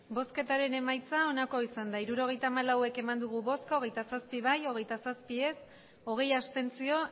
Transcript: emandako botoak hirurogeita hamalau bai hogeita zazpi ez hogeita zazpi abstentzioak